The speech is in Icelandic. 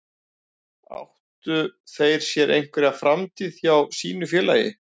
Áttu þeir sér einhverja framtíð hjá sínu félagi?